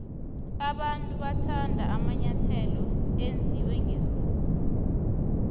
abantu bathanda amanyathelo enziwe nqesikhumba